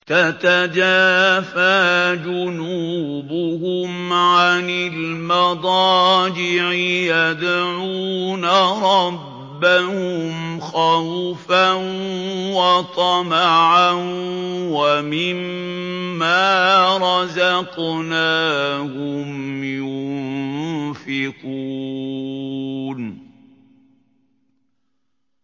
تَتَجَافَىٰ جُنُوبُهُمْ عَنِ الْمَضَاجِعِ يَدْعُونَ رَبَّهُمْ خَوْفًا وَطَمَعًا وَمِمَّا رَزَقْنَاهُمْ يُنفِقُونَ